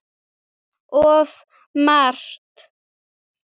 Of margt.